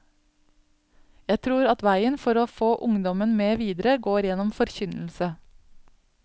Jeg tror at veien for å få ungdommen med videre, går gjennom forkynnelse.